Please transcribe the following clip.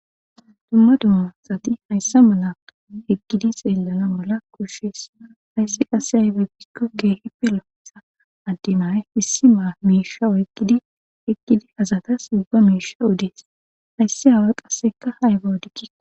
dumma dummasati hayssa mala eqgidi seellana mala kushes hayssi qasse aybe bikko keehi pelootsha addemay issi maa miisha oykidi eqkidi azatas ubba miisha udees hayssi haway qasseka haygaodikki